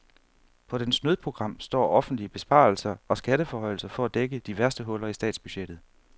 På dens nødprogram står offentlige besparelser og skatteforhøjelser for at dække de værste huller i statsbudgettet.